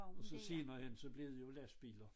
Og så senere hen så blev det jo lastbiler